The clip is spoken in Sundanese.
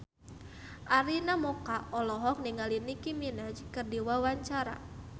Arina Mocca olohok ningali Nicky Minaj keur diwawancara